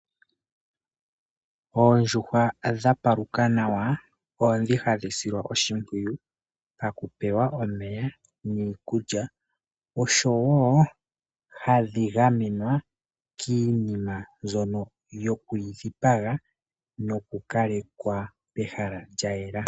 Oondjuhwa dha paluka nawa ondhi hadhi silwa oshimpwiyu paku pewa omeya niikulya oshowo hadhi gamenwa kiinima mbyono yoku dhidhi paga noku kalekwa pehala lya yela.